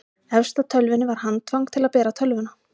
efst á tölvunni var handfang til að bera tölvuna